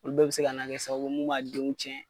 O bɛɛ bi se ka na kɛ sababu mun b'a denw tiɲɛ.